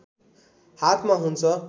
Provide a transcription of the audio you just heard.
हातमा हुन्छ